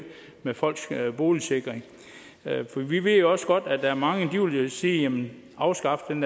med folks boligsikring for vi ved jo også godt at der er mange der vil sige afskaf den